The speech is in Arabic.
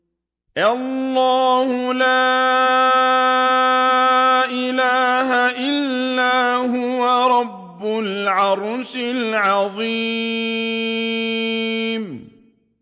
اللَّهُ لَا إِلَٰهَ إِلَّا هُوَ رَبُّ الْعَرْشِ الْعَظِيمِ ۩